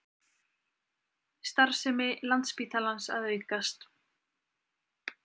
Starfsemi Landspítalans að aukast